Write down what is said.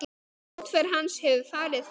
Útför hans hefur farið fram.